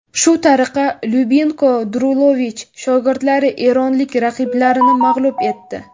Shu tariqa Lyubinko Drulovich shogirdlari eronlik raqiblarini mag‘lub etdi.